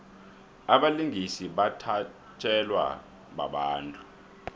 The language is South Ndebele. abalingisi bathatjelwa babantu